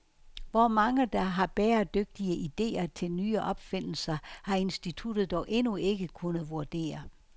Hvor mange, der har bæredygtige idéer til nye opfindelser, har instituttet dog endnu ikke kunnet vurdere.